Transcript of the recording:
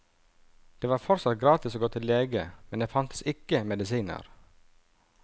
Det var fortsatt gratis å gå til lege, men det fantes ikke medisiner.